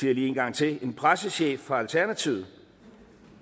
det lige en gang til en pressechef fra alternativet